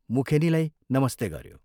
मुखेनीलाई ' नमस्ते ' गऱ्यो।